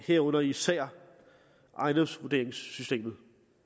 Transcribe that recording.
herunder især ejendomsvurderingssystemet